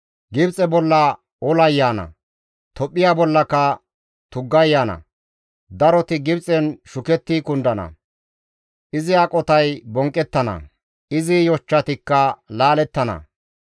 Gibxe bolla olay yaana; Tophphiya bollaka tuggay yaana. Daroti Gibxen shuketti kundana; izi aqotay bonqqettana; izi yochchatikka laalettana.